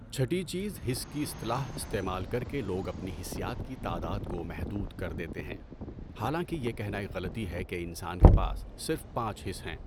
چهٹی چیز حس کی اصطلاح استعمال کر کے لوگ اپنی حسیات کی تعداد کو محدود کر دیتے ہیں، حالانکہ یہ کہنا ایک غلطی ہے کہ انسان کے پاس صرف پانچ حِس ہیں۔